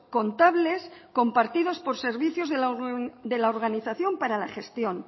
contables compartidos por servicios de la organización para la gestión